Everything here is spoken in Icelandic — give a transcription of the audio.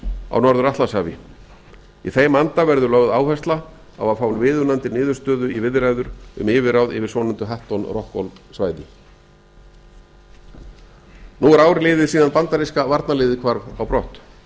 á norður atlantshafi í þeim anda verður lögð áhersla á að fá viðunandi niðurstöðu í viðræður um yfirráð yfir svonefndu hatton rockall svæði nú er ár liðið síðan bandaríska varnarliðið hvarf á brott